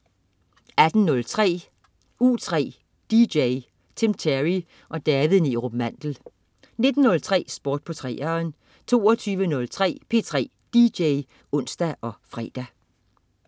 18.03 U3 DJ. Tim Terry og David Neerup Mandel 19.03 Sport på 3'eren 22.03 P3 DJ (ons og fre)